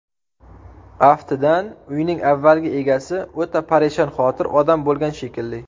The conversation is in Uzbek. Aftidan, uyning avvalgi egasi o‘ta parishonxotir odam bo‘lgan shekilli.